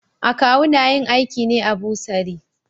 Akawu na yin aiki ne a bursary.